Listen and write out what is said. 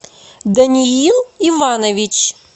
даниил иванович